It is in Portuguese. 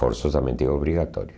Forçosamente obrigatório.